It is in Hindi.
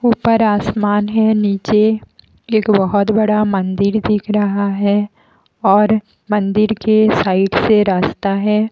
ऊपर आसमान है। नीचे एक बहोत बड़ा मंदिर दिख रहा है और मंदिर के साइड से रास्ता है।